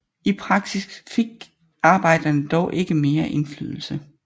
I praksis fik arbejderne dog ikke mere indflydelse